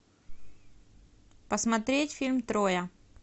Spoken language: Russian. посмотреть фильм троя